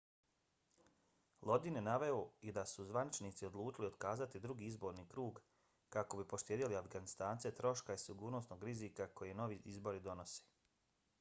lodin je naveo i da su zvaničnici odlučili otkazati drugi izborni krug kako bi poštedjeli afganistance troška i sigurnosnog rizika koje novi izbori nose